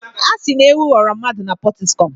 A sị na ewu ghọrọ mmadụ na Pọtiskum.